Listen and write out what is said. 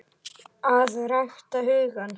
AÐ RÆKTA HUGANN